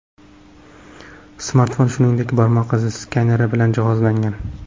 Smartfon, shuingdek, barmoq izi skaneri bilan jihozlangan.